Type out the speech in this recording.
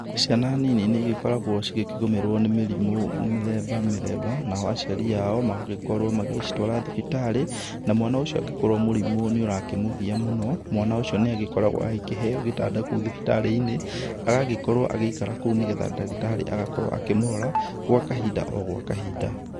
Ciana nini niĩ gĩkoragwo cigĩkĩgũmĩrwo nĩ mĩrimũ mĩthemba mĩthemba, nao aciari ao magagĩkorwo magĩcitwara thibitarĩ. Na mwana ũcio angĩkorwo mũrimũ nĩũrakĩmũgiya mũno mwana ucio niagĩkoragwo ahĩkĩheyo gĩtanda kũu thibitarĩ-inĩ agagĩkorwo agiĩkara kũu nĩgetha ndagĩtarĩ agakorwo akĩmũrora gwa kahinda, o gwa kahinda.